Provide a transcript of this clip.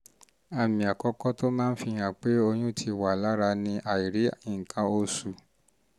àmì àkọ́kọ́ tó máa ń fihàn pé oyún fihàn pé oyún ti wà lára ni àìrí nǹkan oṣù